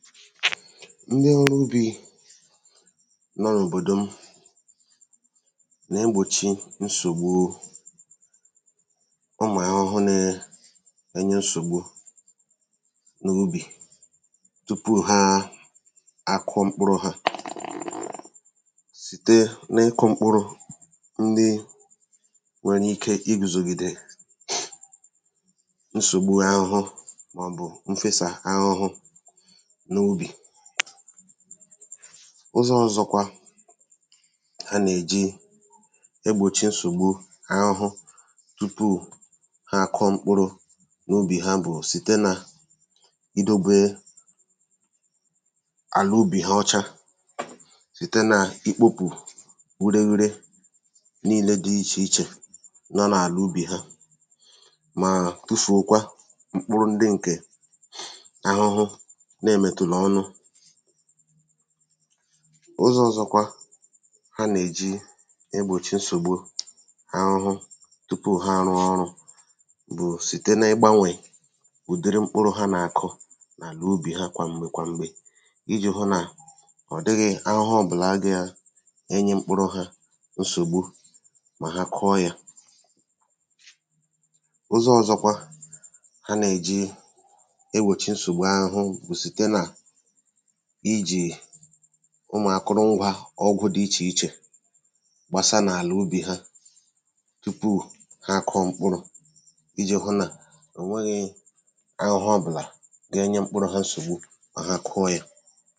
Ndị ọrụ ubī nọ n’òbòdò m nè-egbòchi nsògbu ụmụ̀ ahụhụ nēē enye nsògbu n’ubì tupu ha àkụọ mkpụrụ̄ ha site nị ịkụ̄ mkpụrụ ndị nwērē ike igùzògìdè nsògbu ahụhụ mọ̀bù mfesà ahụhụ n’ubì Ụzọ̄ ọ̀zọkwa a nèji egbòchi nsògbu ahụhụ tupuu ha àkụọ mkpụrụ̄ n’ubì ha bụ̀ site nà idōbē àlà ubì ha ọcha site nà ikpōpù ureghure nilē dị ichè ichè nọ nà àlà ubì ha màà tufùokwa mkpụrụ ndị ǹkè ahụhụ nemètùlà ọnụ ụzọ̄ ọ̀zọkwa ha nèji egbòchi nsògbu ahụhụ tupu ha àrụọ ọrụ̄ bụ̀ site nị ịgbānwè ụ̀diri mkpụrụ ha nàkụ n’àlà ubì ha kwàmgbè kwàmgbè ijī hụ nà ọ̀ dịghị̄ ahụhụ ọ̀bụ̀la ge-enye mkpụrụ hā nsògbu mà ha kụọ yā, ụzọ̄ ọ̀zọkwa ha nèji egbòchi nsògbu ahụhụ bụ̀ site nà ijì ụmụ̀ akụrụngwā ọgwụ̄ dị ichè ichè gbasa n’àlà ubì ha tupu ha àkụọ mkpụrụ̄ ijì hụ nà ò nweghī ahụhụ ọ̀bụ̀là genye mkpụrụ̄ ha nsògbu mà ha kụọ yā